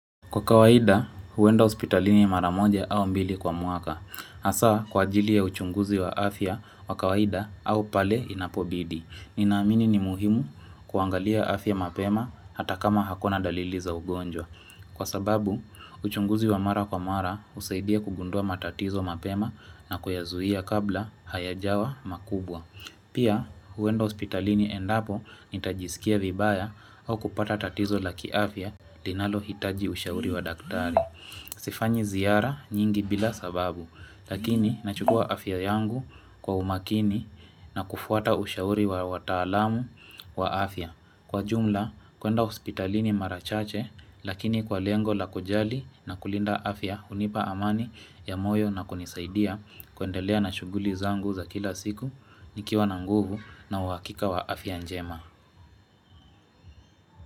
Kwa kawaida, huenda hospitalini mara moja au mbili kwa mwaka. Hasa, kwa ajili ya uchunguzi wa afya wa kawaida au pale inapobidi. Ninaamini ni muhimu kuangalia afya mapema hata kama hakuna dalili za ugonjwa. Kwa sababu, uchunguzi wa mara kwa mara husaidia kugundua matatizo mapema na kuyazuia kabla hayajawa makubwa. Pia huenda hospitalini endapo nitajisikia vibaya au kupata tatizo la kiafya linalohitaji ushauri wa daktari. Sifanyi ziara nyingi bila sababu, lakini nachukua afya yangu kwa umakini na kufuata ushauri wa wataalamu wa afya. Kwa jumla, kuenda hospitalini mara chache lakini kwa lengo la kujali na kulinda afya hunipa amani ya moyo na kunisaidia kuendelea na shughuli zangu za kila siku nikiwa na nguvu na uhakika wa afya njema.